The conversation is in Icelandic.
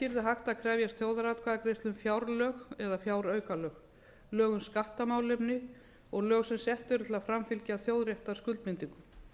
að krefjast þjóðaratkvæðagreiðslu um fjárlög eða fjáraukalög lög um skattamálefni og lög sem sett eru til að framfylgja þjóðréttarskuldbindingum